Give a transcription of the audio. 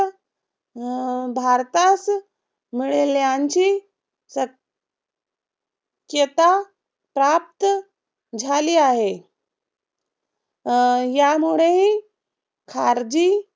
भारतास मिळेल्यांची चेता प्राप्त झाली आहे. यामुळेही खारजी